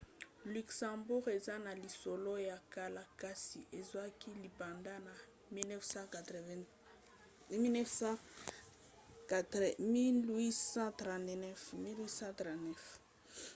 luxembourg eza na lisolo ya kala kasi ezwaki lipanda na 1839